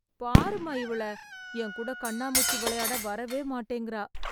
பாரும்மா இவள... எங்கூட கண்ணாமூச்சி வெளையாட வரவே மாட்டேங்கறா.